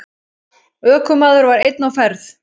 Ökumaður var einn á ferð.